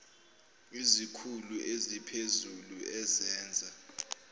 izikhulu eziphezulu ezenza